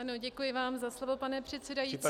Ano, děkuji vám za slovo, pane předsedající.